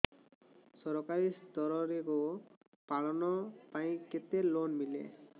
ସରକାରୀ ସ୍ତରରେ ଗୋ ପାଳନ ପାଇଁ କେତେ ଲୋନ୍ ମିଳେ